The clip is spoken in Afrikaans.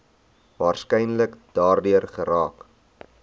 waarskynlik daardeur geraak